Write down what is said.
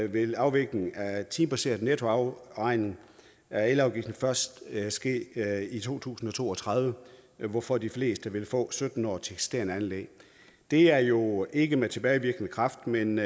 vil en afvikling af timebaseret nettoafregning af elafgiften først ske i to tusind og to og tredive hvorfor de fleste vil få sytten år til eksisterende anlæg det er jo ikke med tilbagevirkende kraft men